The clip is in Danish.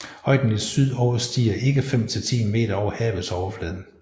Højden i syd overstiger ikke 5 til 10 meter over havets overflade